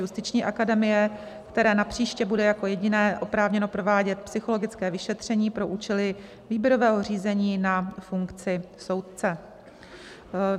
Justiční akademie, které napříště bude jako jediné oprávněno provádět psychologické vyšetření pro účely výběrového řízení na funkci soudce.